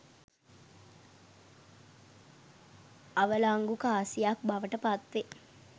අවලංගු කාසියක් බවට පත් වේ.